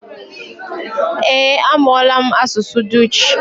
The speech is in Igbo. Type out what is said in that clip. Eh, amụọla m asụsụ dutch